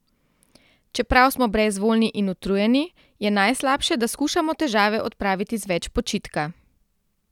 Čeprav smo brezvoljni in utrujeni, je najslabše, da skušamo težave odpraviti z več počitka.